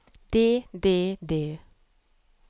det det det